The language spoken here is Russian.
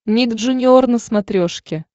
ник джуниор на смотрешке